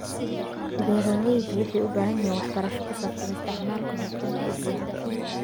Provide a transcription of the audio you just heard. Beeralayda waxay u baahan yihiin waxbarasho ku saabsan isticmaalka hufan ee biyaha.